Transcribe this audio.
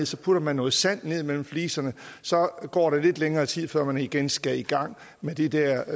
så putter noget sand ned mellem fliserne så går der lidt længere tid før man igen skal i gang med de der